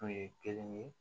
Kun ye kelen ye